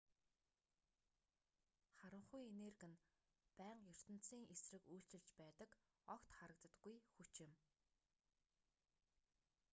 харанхуй энерги нь байнга ертөнцийн эсрэг үйлчилж байдаг огт харагддаггүй хүч юм